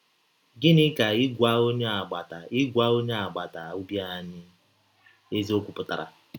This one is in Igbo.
Gịnị ka ịgwa ọnye agbata ịgwa ọnye agbata ọbi anyị eziọkwụ pụtara?